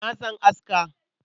Na san aska.